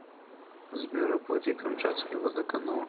сбер оплати камчатский водоканал